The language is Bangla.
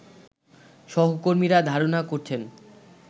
সহকর্মীরা ধারণা করছেন